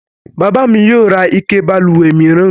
Bàbá mi yio ra ike balùwè mìíran